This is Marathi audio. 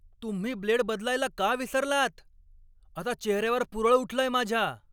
तुम्ही ब्लेड बदलायला का विसरलात? आता चेहऱ्यावर पुरळ उठलंय माझ्या!